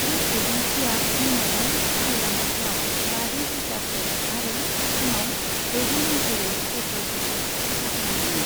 बे एजेन्सीआ मोनायाव गाहाय लामाफोराव बाजौ ग्रिटारफोर आरो फुङाव दजौ मटरवे पेत्रलफोरखौ साफा खालामदोंमोन।